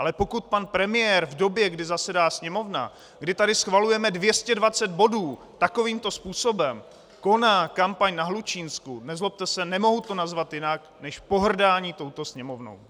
Ale pokud pan premiér v době, kdy zasedá Sněmovna, kdy tady schvalujeme 220 bodů takovýmto způsobem koná kampaň na Hlučínsku, nezlobte se, nemohu to nazvat jinak než pohrdání touto Sněmovnou.